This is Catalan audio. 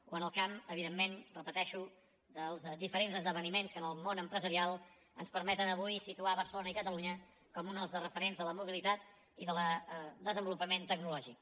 o en el camp evidentment ho repeteixo dels diferents esdeveniments que en el món empresarial ens permeten avui situar barcelona i catalunya com un dels referents de la mobilitat i del desenvolupament tecnològic